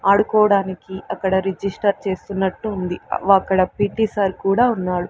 ఆడుకోవడానికి అక్కడ రిజిస్టర్ చేస్తున్నట్టు ఉంది వ అక్కడ పి టీ సార్ కూడా ఉన్నాడు.